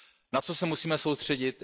Na co se musíme soustředit?